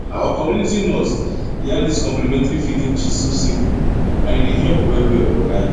our community nurse yarn dis complementary feeding gist so simple and e dey help wellwell walahi